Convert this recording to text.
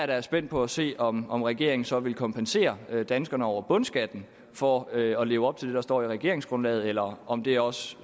da spændt på at se om om regeringen så vil kompensere danskerne over bundskatten for at at leve op til det der står i regeringsgrundlaget eller om det også